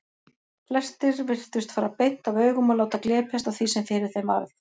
Flestir virtust fara beint af augum og láta glepjast af því sem fyrir þeim varð.